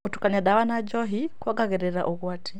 Gũtukania ndawa na njohi kuongagĩrĩra ũgwati.